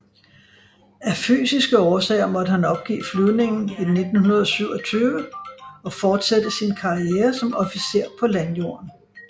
Af fysiske årsager måtte han opgive flyvningen i 1927 og fortsætte sin karriere som officer på landjorden